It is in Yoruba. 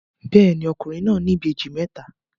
Bẹ́ẹ̀ni, ọkùnrin náà ní ìbejì mẹ́ta.